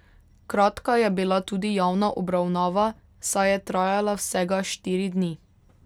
Kratka je bila tudi javna obravnava, saj je trajala vsega štiri dni.